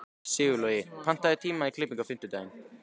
Sigurlogi, pantaðu tíma í klippingu á fimmtudaginn.